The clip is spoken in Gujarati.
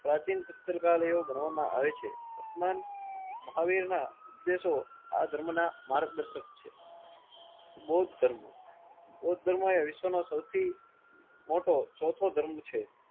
પ્રાચીન પુસ્તકાલયો ભણવામાં આવે છે. મહાવીર ના ઉપદેશો આ ધર્મ ના માર્ગદર્શક છે. બૌદ્ધ ધર્મ બૌદ્ધ ધર્મ એ વિશ્વ નો સૌથી મોટો ચોથો ધર્મ છે.